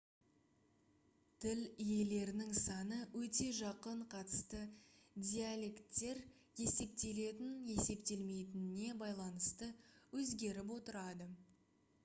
тіл иелерінің саны өте жақын қатысты диалекттер есептелетін-есептелмейтініне байланысты өзгеріп отырады